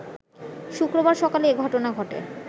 শুক্রবার সকালে এ ঘটনা ঘটে